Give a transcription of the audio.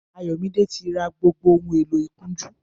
Ayomide ti rà gbógbó óhùn éló ikùnjù